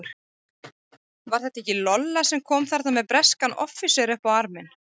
Var þetta ekki Lolla sem kom þarna með breskan offísera upp á arminn?